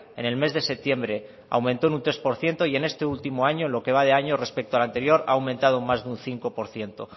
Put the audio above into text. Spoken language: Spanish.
en el mes de septiembre aumento un tres por ciento y en este último año en lo que va de año respecto al anterior ha aumentado en más de un cinco por ciento